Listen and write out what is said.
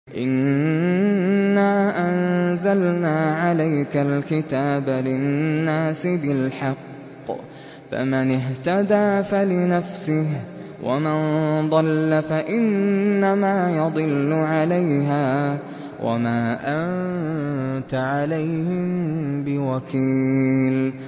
إِنَّا أَنزَلْنَا عَلَيْكَ الْكِتَابَ لِلنَّاسِ بِالْحَقِّ ۖ فَمَنِ اهْتَدَىٰ فَلِنَفْسِهِ ۖ وَمَن ضَلَّ فَإِنَّمَا يَضِلُّ عَلَيْهَا ۖ وَمَا أَنتَ عَلَيْهِم بِوَكِيلٍ